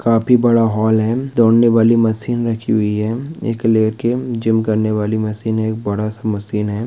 काफी बड़ा हाल है दौड़ने वाली मशीन रखी हुई है एक लेके जिम करने वाली मशीन है एक बड़ा सा मशीन है।